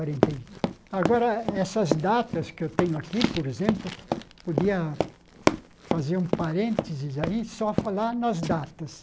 e agora, essas datas que eu tenho aqui, por exemplo, podia fazer um parênteses aí, só falar nas datas.